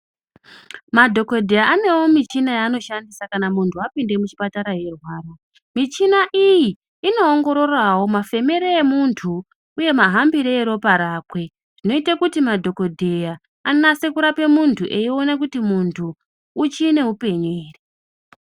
Madhokodheya anewo michina yaanoshandisa kana munhu apinde muchipatara eirwara, michina iyi inoongororawo mafemere emuntu uye mahambire eropa rakwe zvinoite kuti madhokodheya anase kurape muntu eiona kuti muntu uchi neupenyu ere.